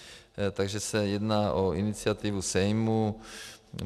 Takže se jedná o iniciativu Sejmu.